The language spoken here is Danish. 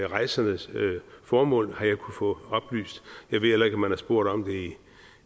rejsernes formål har jeg kunnet få oplyst jeg ved heller ikke om man har spurgt om det